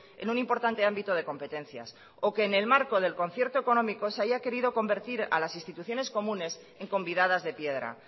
en un importante ámbito de competencias o que en el marco del concierto económico se haya querido convertir a las instituciones comunes en convidadas de piedra